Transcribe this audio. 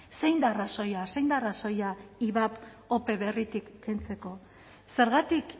zein da arrazoia zein da arrazoia ivap ope berritik kentzeko zergatik